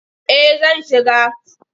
Eh zan shiga.